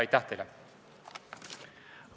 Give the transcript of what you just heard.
Aitäh teile!